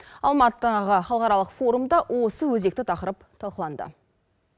алматыдағы халықаралық форумда осы өзекті тақырып талқыланды